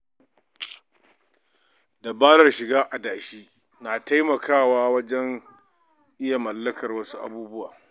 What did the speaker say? Dabarar shiga adashi na taimakawa wajen iya mallakar wasu abubuwa.